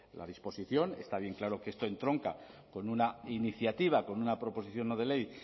la disposición está bien claro que esto entronca con una iniciativa con una proposición no de ley